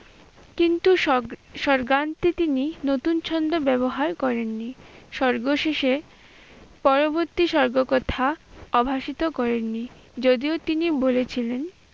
কিন্তু সর্গান্তে তিনি নতুন ছন্দ ব্যবহার করেননি। সর্গ শেষে পরবর্তী সর্গ কথা অভাষিত করেন নি। যদিও তিনি বলেছিলেন